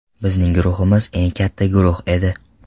Bizning guruhimiz eng katta guruh edi.